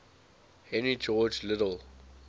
henry george liddell